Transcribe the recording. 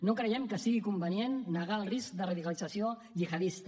no creiem que sigui convenient negar el risc de radicalització gihadista